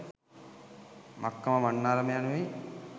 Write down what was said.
මක්කම මන්නාරම යනුවෙනි.